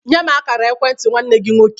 Nye m a kara ekwentị nwanne gi nwọke